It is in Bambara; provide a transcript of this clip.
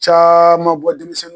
Caaman bɔ denmisɛnnu